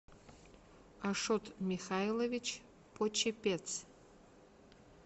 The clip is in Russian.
ашот михайлович почепец